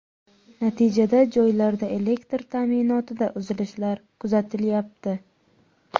Natijada joylarda elektr ta’minotida uzilishlar kuzatilyapti.